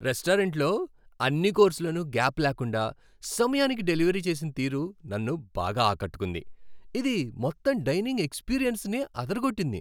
రెస్టారెంట్లో అన్ని కోర్స్లను గ్యాప్ లేకుండా, సమయానికి డెలివరీ చేసిన తీరు నన్ను బాగా ఆకట్టుకుంది, ఇది మొత్తం డైనింగ్ ఎక్స్పీరియన్స్నే అదరగొట్టింది.